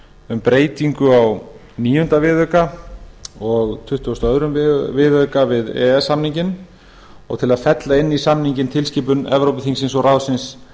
um breytingu á níunda viðauka og tuttugasta og öðrum viðauka við e e s samninginn og til að fella inn í samninginn tilskipun evrópuþingsins og ráðsins